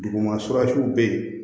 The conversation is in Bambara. Duguma bɛ yen